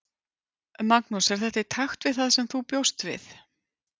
Magnús: Er þetta í takt við það sem þú bjóst við?